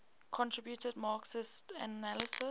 contributed marxist analyses